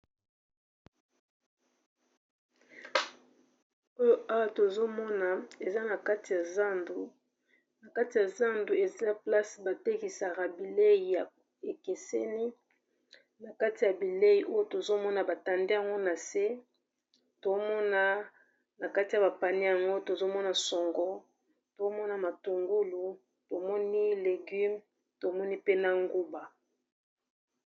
Oyo awa tozomona eza na kati ya zandu, na kati ya zandu eza esika batekisaka bilei ekeseni, na kati ya bilei oyo tozomona batandi yango na se, tozomona na kati ya ba panie yango tozomona songo, tozomona matungulu, tomoni legume, tomoni pe na nguba.